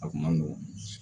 A kun man nɔgɔn